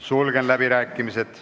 Sulgen läbirääkimised.